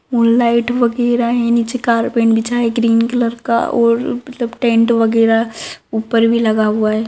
Moon लाइट वगेरा है नीचे कार्पेट बीछा है ग्रीन कलर का और मतलब टेंट वगेरा ऊपर भी लगा हुआ है।